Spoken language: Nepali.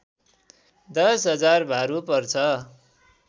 १० हजार भारु पर्छ